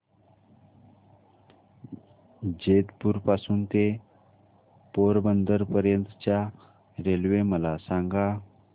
जेतपुर पासून ते पोरबंदर पर्यंत च्या रेल्वे मला सांगा